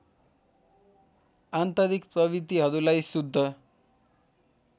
आन्तरिक प्रवृत्तिहरूलाई शुद्ध